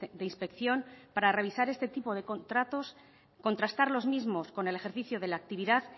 de inspección para revisar este tipo de contratos contrastar los mismos con el ejercicio de la actividad